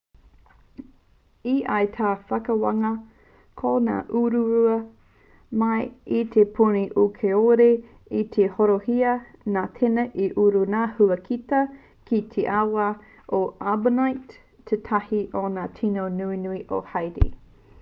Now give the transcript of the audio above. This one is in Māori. e ai tā te whakawākanga ko ngā uruurua mai i te puni un kāore i tika te horoihia nā tēnā i uru ngā huakita ki te awa o artibonite tētahi o ngā tīno nunui o haiti